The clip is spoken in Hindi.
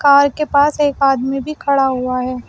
कार के पास एक आदमी भी खड़ा हुआ है।